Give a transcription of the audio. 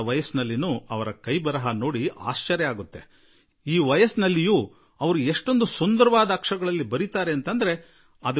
ಅಷ್ಟೇ ಅಲ್ಲ 90 ವರ್ಷಗಳ ಈ ಇಳಿ ವಯಸ್ಸಿನಲ್ಲಿ ಅವರ ಬರವಣಿಗೆ ಶೈಲಿ ಅದೆಷ್ಟು ಸುಂದರ ಅಕ್ಷರಗಳಲ್ಲಿ ಬರೆಯುವರು ಎಂದು ನನಗೆ ಇಂದಿಗೂ ವಿಸ್ಮಯ ಉಂಟಾಗುತ್ತದೆ